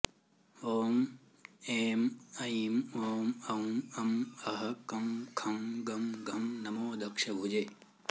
ॐ एं ऐं ओं औं अं अः कं खं गं घं नमो दक्ष भुजे